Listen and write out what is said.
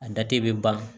A da te ban